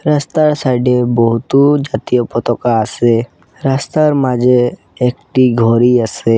রাস্তার সাইড -এ বহুত জাতীয় পতকা আসে রাস্তার মাঝে একটি ঘড়ি আসে।